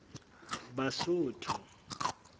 basotho